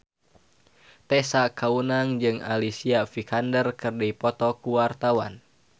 Tessa Kaunang jeung Alicia Vikander keur dipoto ku wartawan